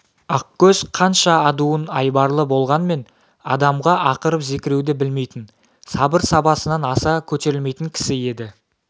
ақкөз қанша адуын айбарлы болғанмен адамға ақырып-зекіруді білмейтін сабыр сабасынан аса көтерілмейтін кісі еді